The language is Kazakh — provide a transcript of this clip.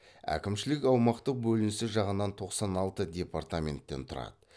әкімшілік аумақтық бөлінісі жағынан тоқсан алты департаменттен тұрады